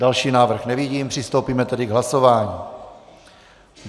Další návrh nevidím, přistoupíme tedy k hlasování.